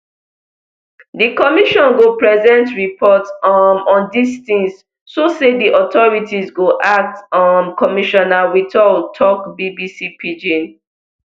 di commission go present report um on dis tins so say di authorities go act um commissioner whittal tok bbc pidgin